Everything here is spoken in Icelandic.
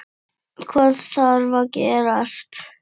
Hvað þarf að gerast?